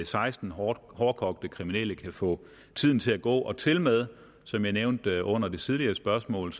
seksten hårdkogte kriminelle kan få tiden til at gå tilmed som jeg nævnte under det tidligere spørgsmål